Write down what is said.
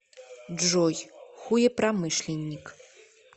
джой хуепромышленник